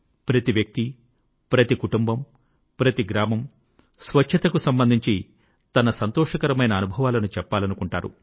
ప్రతి వ్యక్తి ప్రతి కుటుంబం ప్రతి గ్రామం స్వచ్ఛతకు సంబంధించి తన సంతోషకరమైన అనుభవాలను చెప్పాలనుకుంటారు